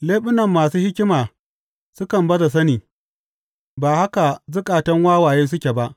Leɓunan masu hikima sukan baza sani; ba haka zukatan wawaye suke ba.